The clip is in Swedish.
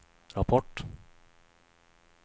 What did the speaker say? rapport